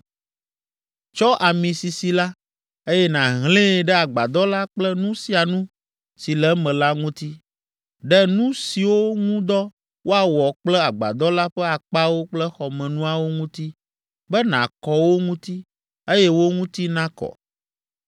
“Tsɔ ami sisi la, eye nàhlẽe ɖe agbadɔ la kple nu sia nu si le eme la ŋuti, ɖe nu siwo ŋu dɔ woawɔ kple agbadɔ la ƒe akpawo kple xɔmenuawo ŋuti be nàkɔ wo ŋuti, eye wo ŋuti nakɔ.